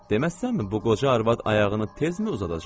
Deməzsənmi bu qoca arvad ayağını tezmi uzadacaq?